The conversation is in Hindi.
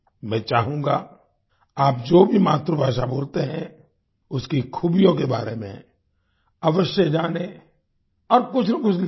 मैं चाहूँगा आप जो भी मातृभाषा बोलते हैं उसकी खूबियों के बारे में अवश्य जानेँ और कुछनाकुछ लिखें